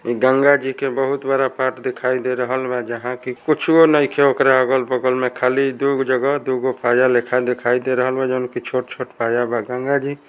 यहाँ गंगा जी का बहुत बड़ा तट दिखाई दे रहल बा जहां कुछवो नहीं है अगल-बगल में खली गंगा जी--